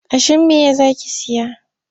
Kashimeya za ki saya?